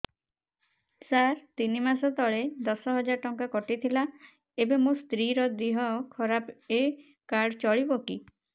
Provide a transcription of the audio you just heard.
ସାର ତିନି ମାସ ତଳେ ଦଶ ହଜାର ଟଙ୍କା କଟି ଥିଲା ଏବେ ମୋ ସ୍ତ୍ରୀ ର ଦିହ ଖରାପ ଏ କାର୍ଡ ଚଳିବକି